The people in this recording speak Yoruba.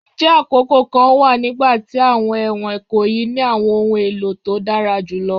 Njẹ akoko kan wa nigbati awọn ẹwọn ikoyi ni awọn ohun elo to dara julọ?